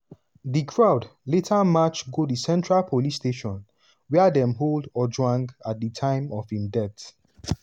di crowd later march go di central police station wia dem hold ojwang at di time of im death.